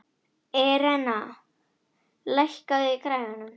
Irena, lækkaðu í græjunum.